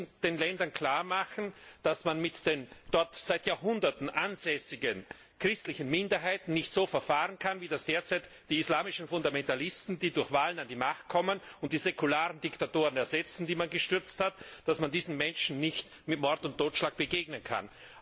Wir müssen den Ländern klar machen, dass man mit den dort seit Jahrhunderten ansässigen christlichen Minderheiten nicht so verfahren kann, wie das derzeit die islamischen Fundamentalisten, die durch Wahlen an die Macht kommen und die säkularen Diktatoren ersetzen, die man gestürzt hat, dass man diesen Menschen nicht mit Mord und Totschlag begegnen kann.